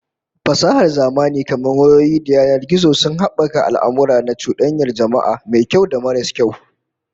Fasahar zamani kamar wayoyi da yanar gizo sun habaka al'amurra na cudanyar jama'a, mai kyau da maras kyau